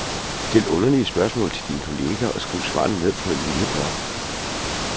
Stil underlige spørgsmål til dine kolleger og skriv svarene ned på en lille blok.